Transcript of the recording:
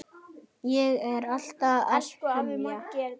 Ég er alltaf að semja.